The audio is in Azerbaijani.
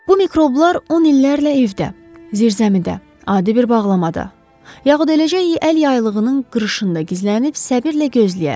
Bu mikroblar 10 illərlə evdə, zirzəmidə, adi bir bağlamada, yaxud eləcə əl yaylığının qırışında gizlənib səbirlə gözləyər.